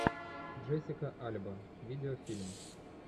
джессика альба видеофильм